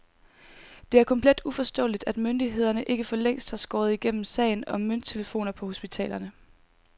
Det er komplet uforståeligt, at myndighederne ikke for længst har skåret igennem sagen om mønttelefoner på hospitalerne.